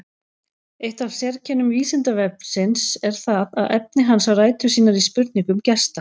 Eitt af sérkennum Vísindavefsins er það að efni hans á rætur sínar í spurningum gesta.